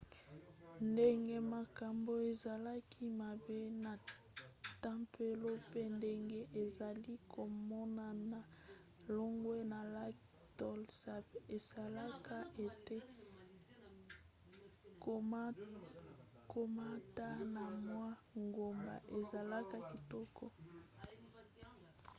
ndenge makambo ezalaki mabe na tempelo pe ndenge ezali komonana longwa na lac tonlé sap esalaka ete komata na mwa ngomba ezala kitoko